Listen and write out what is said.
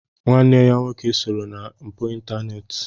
Nwanne ya nwoke sooro na mpụ ịntaneti.